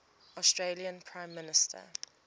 australian prime minister